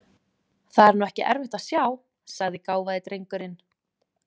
Það er nú ekki erfitt að sjá, sagði gáfaði drengurinn.